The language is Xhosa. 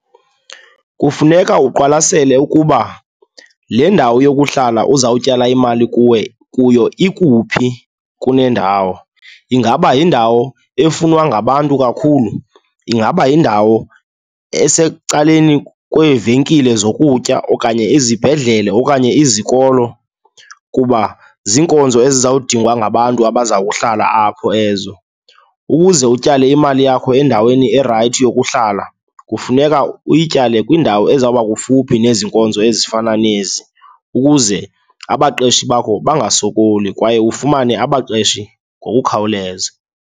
Kufuneka uqwalasele ukuba le ndawo yokuhlala uzawutyala imali kuwe, kuyo ikuphi kunendawo. Ingaba yindawo efunwa ngabantu kakhulu? Ingaba yindawo esecaleni kweevenkile zokutya okanye izibhedlele okanye izikolo? Kuba ziinkonzo ezizawudingwa ngabantu abazawuhlala apho ezo. Ukuze utyale imali yakho endaweni erayithi yokuhlala, kufuneka uyityale kwindawo ezawuba kufuphi nezi nkonzo ezifana nezi, ukuze abaqeshi bakho bangasokoli kwaye ufumane abaqeshi ngokukhawuleza.